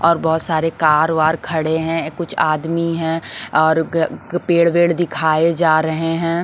और बहुत सारे कार वार खड़े हैं कुछ आदमी हैं और पेड़ वेड दिखाए जा रहे हैं।